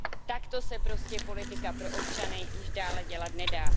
Takto se prostě politika pro občany již dále dělat nedá.